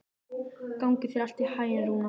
Gangi þér allt í haginn, Rúna.